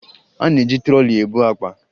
A na-eji trọlị ebu akpa